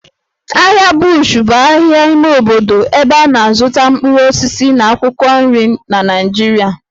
Ahịa Bush bụ ahịa ime obodo ebe a na-azụta mkpụrụ osisi na akwụkwọ nri na Naịjirịa